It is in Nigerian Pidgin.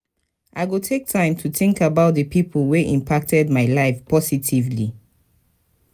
i go take time to think about the pipo wey impacted my life positively.